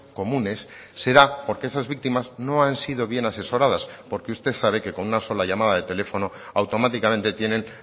comunes será porque esas víctimas no han sido bien asesoradas porque usted sabe que con una sola llamada de teléfono automáticamente tienen